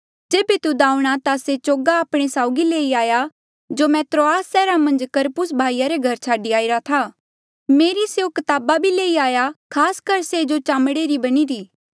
जेबे तुद आऊंणा ता से चोगा आपणे साउगी लेई आया जो मैं त्रोआस सैहरा मन्झ करपुस भाई रे घरा छाडी आईरा था मेरे स्यों कताबा भी लेई आया खास कर से जो चामड़े री बणीरी